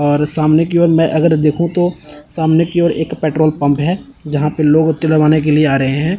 और सामने की ओर मैं देखु तो सामने की ओर एक पेट्रोल पंप है जहां पे लोग तेलवाने के लिए आ रहे हैं।